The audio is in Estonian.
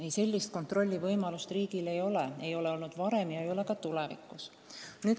Ei, sellist kontrollivõimalust riigil ei ole – pole olnud seni ega ole ka tulevikus.